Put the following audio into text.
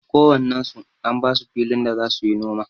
Ko wannen su an basu filin da za suyi noma.